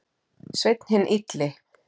Sveinn hinn illi.